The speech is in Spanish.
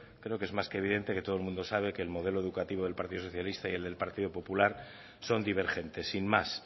creo que es más que evidente que todo el mundo sabe que el modelo educativo del partido socialista y el del partido popular son divergentes sin más